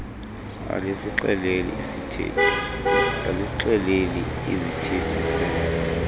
alisixeleli iisithethi se